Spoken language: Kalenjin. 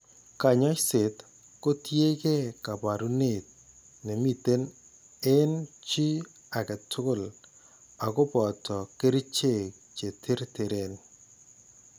Kaany'ayseet ko tiyekeey kaabarunet ne miten eng' chi ake tugul ak ko boto kerchek che terteren.